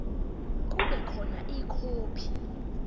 kube khona ikhophi